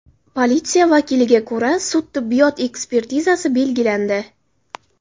Politsiya vakiliga ko‘ra, sud-tibbiyot ekspertizasi belgilandi.